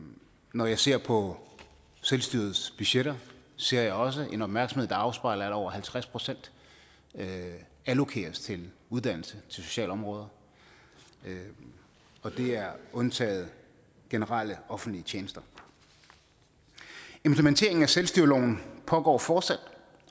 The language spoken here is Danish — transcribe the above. når jeg ser på selvstyrets budgetter ser jeg også en opmærksomhed der afspejler at over halvtreds procent allokeres til uddannelse sociale områder og det er undtaget generelle offentlige tjenester implementeringen af selvstyreloven pågår fortsat